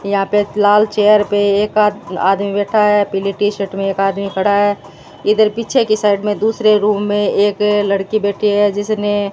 यहां पे लाल चेयर पे एक आ आदमी बैठा है पीली टी-शर्ट मे एक आदमी खड़ा है इधर पीछे की साइड मे दूसरे रूम मे एक लड़की बैठी है जिसने --